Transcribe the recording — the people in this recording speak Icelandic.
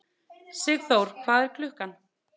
Sigþór, hvað er klukkan?